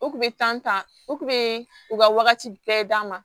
O kun bɛ tan o kun bɛ u ka wagati bɛɛ d'a ma